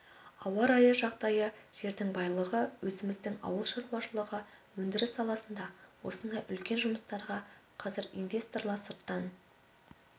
ауа райы жағдайы жердің байлығы өзіміздің ауыл шаруашылығы өндіріс саласына осындай үлкен жұмыстарға қазір инвесторлар сырттан